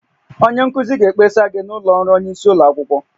Onye nkuzi ga-ekpesa gị n'ụlọ ọrụ onye isi ụlọ akwụkwọ